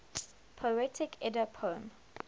poetic edda poem